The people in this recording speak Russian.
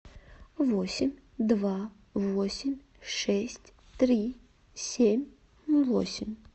восемь два восемь шесть три семь восемь